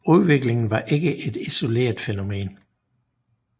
Udviklingen var ikke et isoleret fænomen